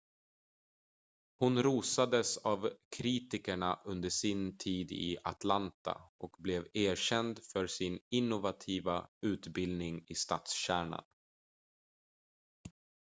hon rosades av kritikerna under sin tid i atlanta och blev erkänd för sin innovativa utbildning i stadskärnan